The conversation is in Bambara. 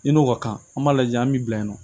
I n'o ka kan an b'a lajɛ an bi bila yen nɔ